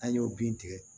An y'o bin tigɛ